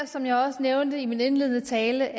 som jeg også nævnte i min indledende tale